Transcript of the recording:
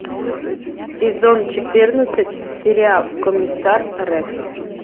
сезон четырнадцать сериал комиссар рекс